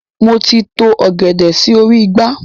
Moti to ọ̀gẹ̀dẹ̀ sì orí igbá.